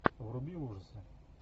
вруби ужасы